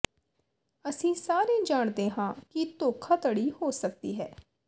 ਅਸੀਂ ਸਾਰੇ ਜਾਣਦੇ ਹਾਂ ਕਿ ਧੋਖਾਧੜੀ ਹੋ ਸਕਦੀ ਹੈ